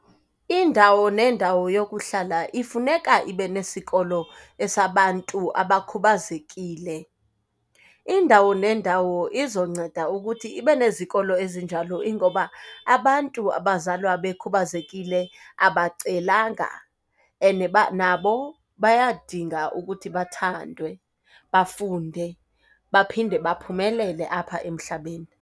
Indawo nendawo yokuhlala ifuneka ibenesikolo esabantu abakhubazekile. Indawo nendawo izonceda ukuthi ibenezikolo ezinjalo ingoba abantu abazalwa bekhubazekile abacelanga, and nabo bayadinga ukuthi bathandwe, bafunde, baphinde baphumelele apha emhlabeni.